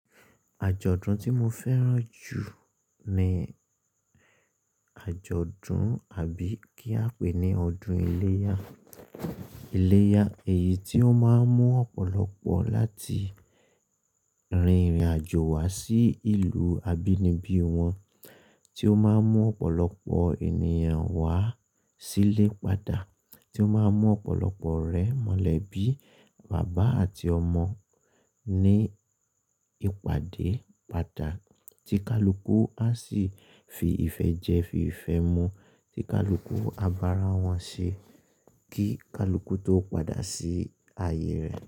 Àjọ̀dún tí mo fẹ́ràn jù ni àjọ̀dún àbí kí a pè é ní Ọdún Ìléyà. Ìléyà èyí tí ó máa ń mú ọ̀pọ̀lọpọ̀ láti rin ìrìnàjò wá sí ìlú abínibí wọn, tí ó máa ń mú ọ̀pọ̀lọpọ̀ ènìyàn wá sílé padà, tí ó máa ń mú ọ̀pọ̀lọpọ̀ ore mọ̀lẹ́bí, bàbá àti ọmọ ní ìpàdé padà tí kálúkú a sì fi ìfẹ́ jẹ fi ìfẹ́ mu, tí kálúkú a bá ara wọn ṣe kí kálúkú tó padà sí ayé rẹ̀